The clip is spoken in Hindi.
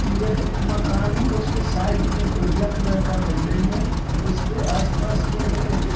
यह एक मकान है। उसके साइड में एक उजला कलर का बिल्डिंग है। उसके आसपास में एक --